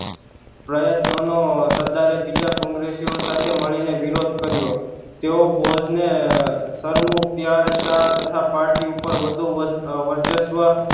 પ્રયત્નો નો સરદારે બીજા કોંગ્રેસી ઑ સાથે મળી ને વિરોધ કર્યો તેઓ બોધ ને સરમુખત્યારશા તથા party ઉપર વધુ વર વર્ચસ્વ